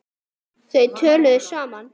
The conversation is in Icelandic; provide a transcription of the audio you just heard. Þau töluðu saman.